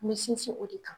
N bɛ sinsin o de kan